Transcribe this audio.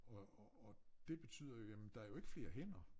Og og og det betyder jo jamen der jo ikke flere hænder